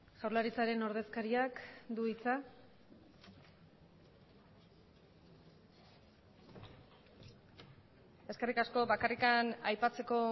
jaurlaritzaren ordezkariak du hitza eskerrik asko bakarrik aipatzeko